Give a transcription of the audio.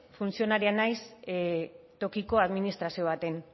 funtzionarioa naiz tokiko administrazio batean